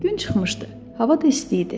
Gün çıxmışdı, hava da isti idi.